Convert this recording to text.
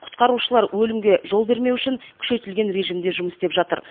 құтқарушылар өлімге жол бермес үшін күшейтілген режимде жұмыс істеп жатыр